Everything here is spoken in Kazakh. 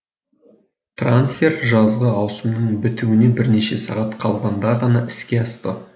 трансфер жазғы ауысымның бітуіне бірнеше сағат қалғанда ғана іске асты